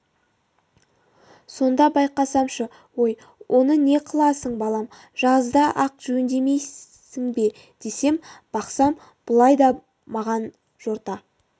сонда байқасамшы ой оны не қыласың балам жазда-ақ жөндемейсің бе десем бақсам бұлай деп маған жорта